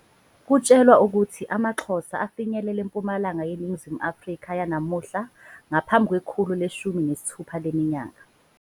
Kutshelwa ukuthi amaXhosa afinyelele eMpumalanga yeNingizimu Afrika yanamuhla ngaphambi kwekhulu leshumi nesithupha leminyaka.